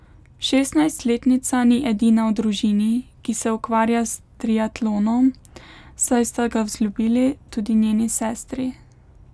Šestnajstletnica ni edina v družini, ki se ukvarja s triatlonom, saj sta ga vzljubili tudi njeni sestri.